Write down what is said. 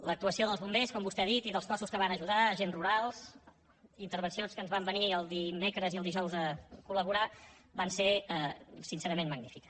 l’actuació dels bombers com vostè ha dit i dels cossos que van ajudar agents rurals intervencions que ens van venir el dimecres i el dijous a colser sincerament magnífica